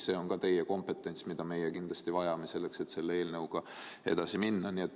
See on samuti teie kompetents, mida me kindlasti vajame, et selle eelnõuga edasi minna.